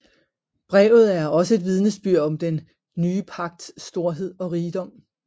Brevet er også et vidnesbyrd om den nye pagts storhed og rigdom